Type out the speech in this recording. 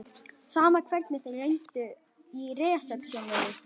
Sama hvernig þeir reyndu í resepsjóninni.